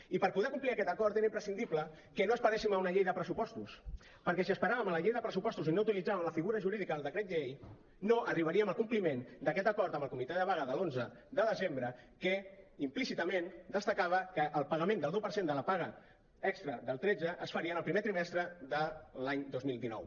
i per poder complir aquest acord era imprescindible que no esperéssim a una llei de pressupostos perquè si esperàvem a la llei de pressupostos i no utilitzàvem la figura política del decret llei no arribaríem al compliment d’aquest acord amb el comitè de vaga de l’onze de desembre que implícitament destacava que el pagament del deu per cent de la paga extra del tretze es faria en el primer trimestre de l’any dos mil dinou